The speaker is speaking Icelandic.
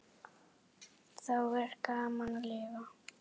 Þá er gaman að lifa!